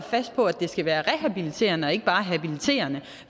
fast på at det skal være rehabiliterende og ikke bare habiliterende